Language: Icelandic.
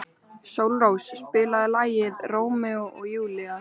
Sólrós, spilaðu lagið „Rómeó og Júlía“.